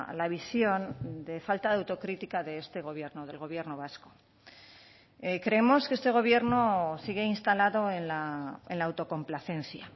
la visión de falta de autocrítica de este gobierno del gobierno vasco creemos que este gobierno sigue instalado en la autocomplacencia